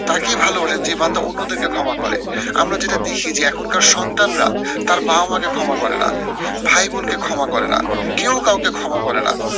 তাকেই ভালোবাসেন যে বান্দা অন্যদেরকে ক্ষমা করে। আমরা যেটা দেখি যে এখনকার সন্তানরা তার বাবা মা কে ক্ষমা করে না, ভাই বোন কে ক্ষমা করে না। কেউ কাউকে ক্ষমা করে না।